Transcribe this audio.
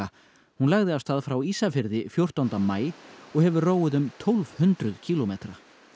hún lagði af stað frá Ísafirði fjórtánda maí og hefur róið um tólf hundruð kílómetra